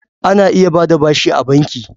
Ana iya ba da bashi a banki.